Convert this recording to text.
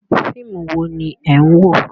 Fíìmù wo ni ẹ̀ ń wò?